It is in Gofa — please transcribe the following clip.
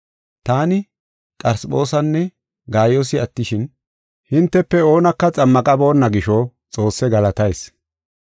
Taani Qarisphoosinne Gaayoosi attishin, hintefe oonaka xammaqaboonna gisho, Xoosse galatayis.